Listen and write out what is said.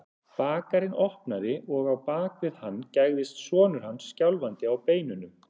Bakarinn opnaði og á bak við hann gægðist sonur hans, skjálfandi á beinunum.